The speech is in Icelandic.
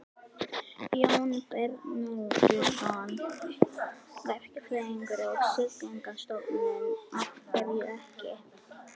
Jón Bernódusson, verkfræðingur á Siglingastofnun: Af hverju ekki?